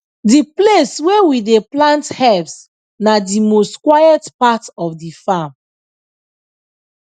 the place wey we dey plant herbs na the most quiet part of the farm